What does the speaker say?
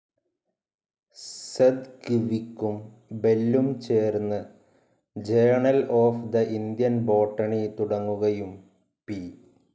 സെദ്‌ഗ്‌വിക്കും ബെല്ലും ചേർന്ന് journal of the Indian botany തുടങ്ങുകയും പി.